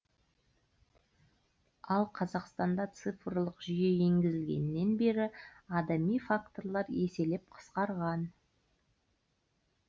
ал қазақстанда цифрлық жүйе енгізілгеннен бері адами факторлар еселеп қысқарған